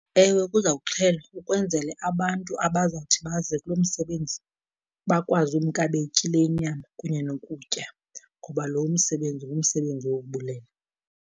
Ewe, kuzawuxhelwa ukwenzele abantu abazawuthi baze kulo msebenzi bakwazi umka betyile inyama, kunye nokutya. Ngoba lo msebenzi ngumsebenzi wokubulela.